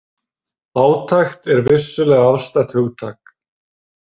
Fátækt er vissulega afstætt hugtak.